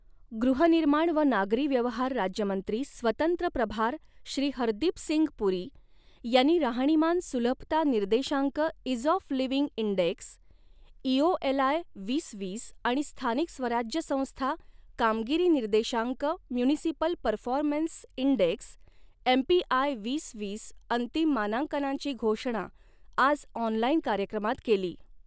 गृहनिर्माण व नागरी व्यवहार राज्यमंत्री स्वतंत्र प्रभार श्री हरदीपसिंग पुरी, यांनी राहणीमान सुलभता निर्देशांक ease of living index, EOLI वीस वीस आणि स्थानिक स्वराज्य संस्था कामगिरी निर्देशांक म्युनिसिपल परफॉरमेन्स इंडेक्स, एमपीआय वीस वीस अंतिम मानांकनांची घोषणा आज ऑनलाइन कार्यक्रमात केली.